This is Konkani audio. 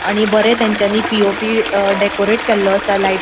आणि बरे तांचानी पी.ओ.पी. अ डेकोरेट केल्लो आसा लायट ----